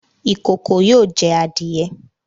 Ikòkò yóò jẹ́ àdìẹ̀